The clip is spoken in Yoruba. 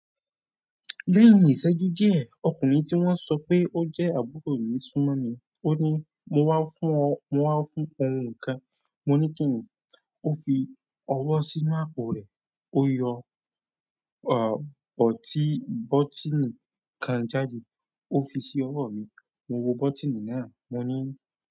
Lẹ́yìn ìṣẹ́jú díẹ̀, ọkùnrin tí wọ́n sọ pé ó jẹ́ àbúrò mi súmọ́ mi. Ó ní "mo wá fún ọ, mo wá fún ohun kan". Mo ní kí ni? Ó fi ọwọ́ sínú àpò rẹ̀, ó yọ, à, bọ̀tí, bọ́tíìnì kan jáde, ó fi sí ọwọ́ mi. Mo wo bọ́tíìnì náà, mo ní.